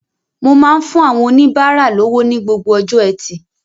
Mo máa ń fún àwọn oníbárà lówó ní gbogbo ọjọ́ Ẹtì